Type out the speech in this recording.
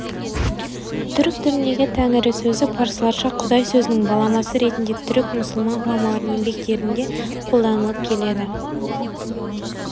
түрік тіліндегі тәңірі сөзі парсыларша құдай сөзінің баламасы ретінде түрік-мұсылман ғұламаларының еңбектерінде қолданылып келді